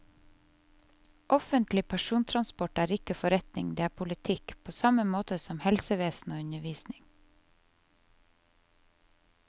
Offentlig persontransport er ikke forretning, det er politikk, på samme måte som helsevesen og undervisning.